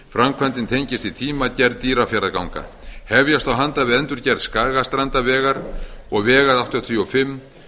framkvæmdin tengist í tíma gerð dýrafjarðarganga hefjast á handa við endurgerð skagastrandarvegar og vegar áttatíu og fimm